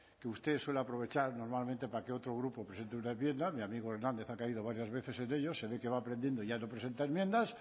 que usted suele aprovechar normalmente para que otro grupo presente una enmienda mi amigo hernández ha caído varias veces en ello se ve que va aprendiendo y ya no presenta enmiendas